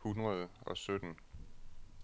hundrede og sytten